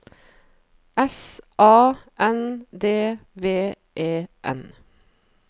S A N D V E N